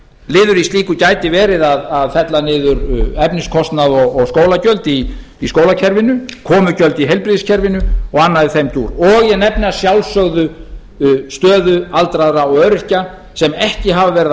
í slíku gæti verið að fella niður efniskostnað og skólagjöld í skólakerfinu komugjöld í heilbrigðiskerfinu og annað í þeim dúr og ég nefni að sjálfsögðu stöðu aldraðra og öryrkja sem ekki hafa verið að